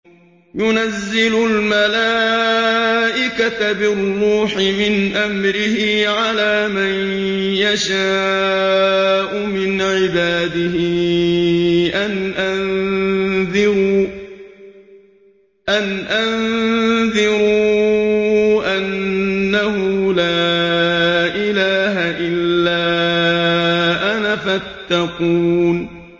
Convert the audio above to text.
يُنَزِّلُ الْمَلَائِكَةَ بِالرُّوحِ مِنْ أَمْرِهِ عَلَىٰ مَن يَشَاءُ مِنْ عِبَادِهِ أَنْ أَنذِرُوا أَنَّهُ لَا إِلَٰهَ إِلَّا أَنَا فَاتَّقُونِ